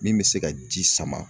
Min bɛ se ka ji sama